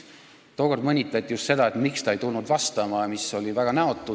Tookord mõnitati just seda, miks ta ei tulnud vastama, mis oli väga näotu.